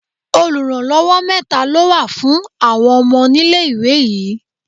Oluranlowo mẹ́ta ló wà fún àwọn ọmọ nílé-ìwé yìí.